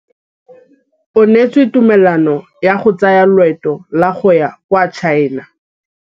O neetswe tumalanô ya go tsaya loetô la go ya kwa China.